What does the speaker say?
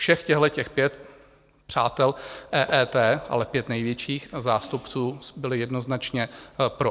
Všech těchto pět přátel EET, ale pět největších zástupců, bylo jednoznačně pro.